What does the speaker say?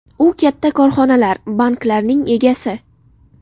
U katta korxonalar, banklarning egasi.